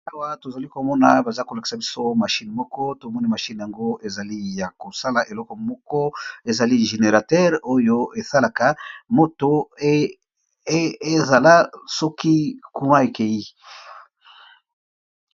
Awa tozali komona ,bazo kolakisa biso mashine moko tomoni, mashine yango ezali ya kosala eloko moko ezali generateur oyo esungaka soki moto ekei.